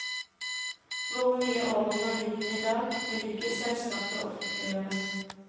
Hvor mye over man ligger i dag, vil ikke selskapet offentliggjøre.